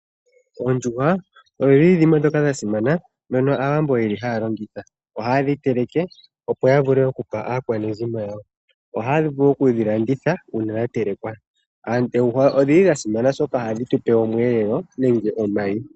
Oondjuhwa odha simana nAawambo ohaye dhi longitha. Ohaye dhi teleke, opo ya vule okupa aakwanezimo lyawo. Ohaya vulu okudhi landitha uuna dha telekwa. Oondjuhwa odha simana, oshoka ohadhi tu pe omweelelo nenge omayi.